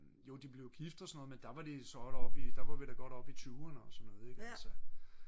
jo de blev gift og sådan noget men der var vi da godt oppe i 20'erne og så noget ik altså